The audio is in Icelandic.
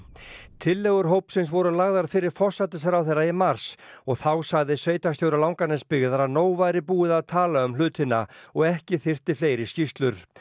tillögur hópsins voru lagðar fyrir forsætisráðherra í mars og þá sagði sveitarstjóri Langanesbyggðar að nóg væri búið að tala um hlutina og ekki þyrfti fleiri skýrslur